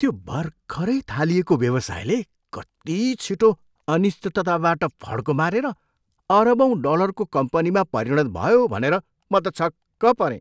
त्यो भर्खरै थालिएको व्यवसायले कति छिटो अनिश्चितताबाट फड्को मारेर अरबौँ डलरको कम्पनीमा परिणत भयो भनेर म त छक्क परेँ।